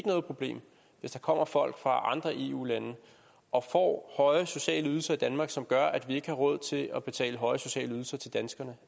noget problem hvis der kommer folk fra andre eu lande og får høje sociale ydelser i danmark som gør at vi ikke har råd til at betale høje sociale ydelser til danskerne